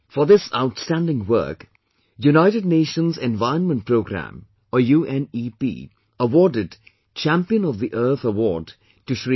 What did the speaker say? For this outstanding work, United Nations Environment Programme or UNEP awarded 'Champion of the Earth' Award to Sh